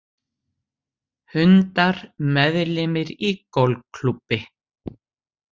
Hundar meðlimir í golfklúbbi